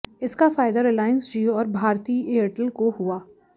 इसका फायदा रिलायंस जियो और भारती एयरटेल को हुआ